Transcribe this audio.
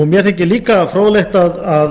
mér þykir líka fróðlegt að